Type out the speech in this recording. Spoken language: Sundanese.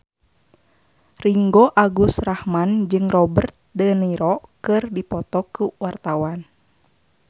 Ringgo Agus Rahman jeung Robert de Niro keur dipoto ku wartawan